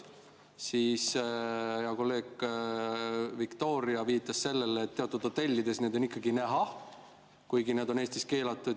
Siis hea kolleeg Viktoria viitas sellele, et teatud hotellides need on ikkagi näha, kuigi nad on Eestis keelatud.